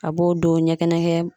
A b'o don ɲɛkɛnɛkɛ